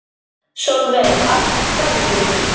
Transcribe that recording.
Sólveig: Af hverju?